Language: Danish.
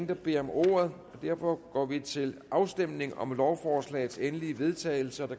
der beder om ordet derfor går vi til afstemning om lovforslagets endelige vedtagelse